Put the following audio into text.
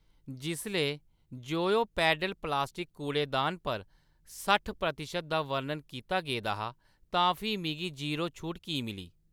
जिसलै जोयो पैडल प्लास्टिक कूड़ेदान पर सट्ठ प्रतिशत दा बर्णन कीता गेदा तां फ्ही मिगी ज़ीरो छूट की मिली ?